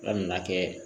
Ala nana kɛ